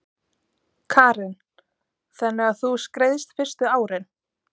Karen: Þannig að þú skreiðst fyrstu árin?